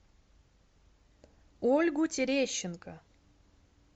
ольгу терещенко